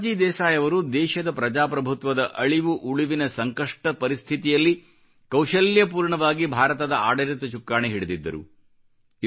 ಮೊರಾರ್ಜಿ ದೇಸಾಯಿ ಅವರು ದೇಶದ ಪ್ರಜಾಪ್ರಭುತ್ವದ ಅಳಿವು ಉಳಿವಿನ ಸಂಕಷ್ಟ ಪರಿಸ್ಥಿತಿಯಲ್ಲಿ ಕೌಶಲ್ಯಪೂರ್ಣವಾಗಿ ಭಾರತದ ಆಡಳಿತ ಚುಕ್ಕಾಣಿ ಹಿಡಿದಿದ್ದರು